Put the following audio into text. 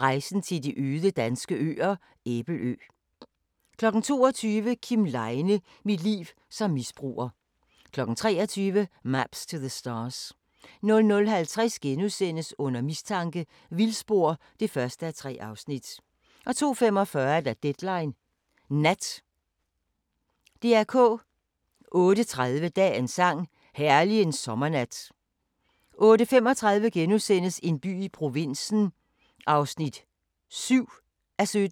15:50: Matador – Den enes død (5:24) 16:50: Matador – Opmarch (6:24) 17:45: Matador – Fødselsdagen (7:24) 19:00: Rejseholdet: En kvinde forsvinder (Afs. 6) 19:55: Dagens sang: Herlig en sommernat * 20:00: En by i provinsen (9:17) 20:55: